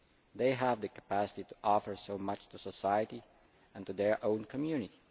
They have the capacity to offer so much to society and to their own community.